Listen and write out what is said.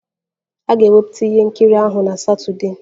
A ga-ewepụta ihe nkiri ahụ na Satọdee